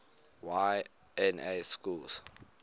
y na schools